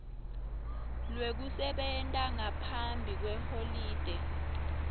lwekusebenta ngaphambi kweholide